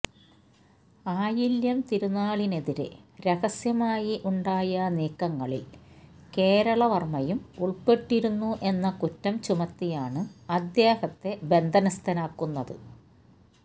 ആയില്യം തിരുനാളിനെതിരെ രഹസ്യമായി ഉണ്ടായ നീക്കങ്ങളില് കേരള വര്മയും ഉള്പ്പെട്ടിരുന്നു എന്ന കുറ്റം ചുമത്തിയാണ് അദ്ദേഹത്തെ ബന്ധനസ്ഥനാക്കുന്നത്